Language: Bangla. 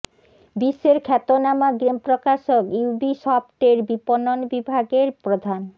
বিশ্বের খ্যাতনামা গেম প্রকাশক ইউবিসফট এর বিপণন বিভাগের প্রধান